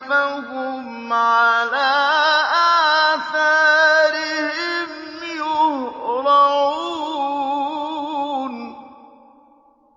فَهُمْ عَلَىٰ آثَارِهِمْ يُهْرَعُونَ